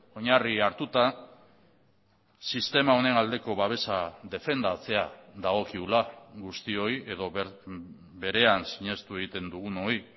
oinarri hartuta sistema honen aldeko babesa defendatzea dagokigula guztioi edo berean sinestu egiten dugunoi